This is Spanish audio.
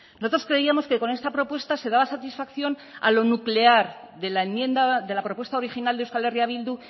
nosotros creíamos que con esta propuesta se daba satisfacción a lo nuclear de la enmienda de la propuesta original de euskal herria bildu